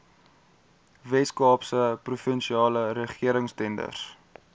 weskaapse provinsiale regeringstenders